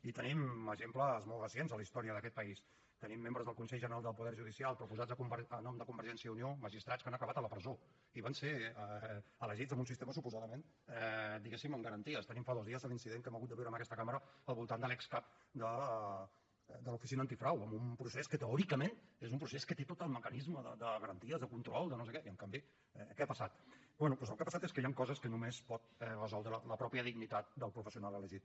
i tenim exemples molt recents a la història d’aquest país tenim membres del consell general del poder judicial proposats a nom de convergència i unió magistrats que han acabat a la presó i van ser elegits amb un sistema suposadament diguéssim amb garanties tenim fa dos dies l’incident que hem hagut de viure en aquesta cambra al voltant de l’excap de l’oficina antifrau amb un procés que teòricament és un procés que té tot el mecanisme de garanties de control de no sé què i en canvi què ha passat bé doncs el que ha passat és que hi han coses que només pot resoldre la mateixa dignitat del professional elegit